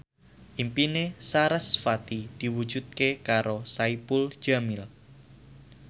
impine sarasvati diwujudke karo Saipul Jamil